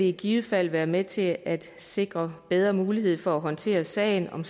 i givet fald være med til at sikre bedre mulighed for at håndtere sager om